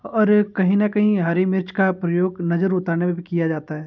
और ए कहीं ना कहीं हरी मिर्च का प्रयोग नजर उतारने में भी किया जाता है।